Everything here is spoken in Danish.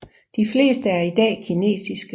De fleste er i dag kinesiske